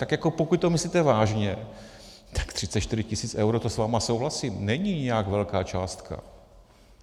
Tak jako pokud to myslíte vážně, tak 34 tisíc eur, to s vámi souhlasím, není nějak velká částka.